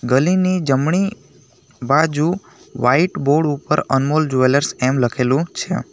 ગલીની જમણી બાજુ white board ઉપર અનમોલ જવેલર્સ એમ લખેલું છે.